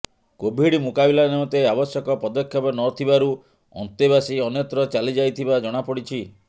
Covid ମୁକାବିଲା ନିମନ୍ତେ ଆବଶ୍ୟକ ପଦକ୍ଷେପ ନଥିବାରୁ ଅନ୍ତେବାସୀ ଅନ୍ୟତ୍ର ଚାଲିଯାଇଥିବା ଜଣାପଡ଼ିଛି